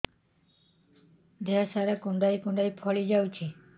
ଦେହ ସାରା କୁଣ୍ଡାଇ କୁଣ୍ଡାଇ ଫଳି ଯାଉଛି